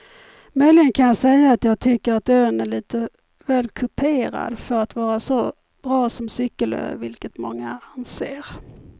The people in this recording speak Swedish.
Möjligen kan jag säga att jag tycker att ön är lite väl kuperad för att vara så bra som cykelö vilket många anser.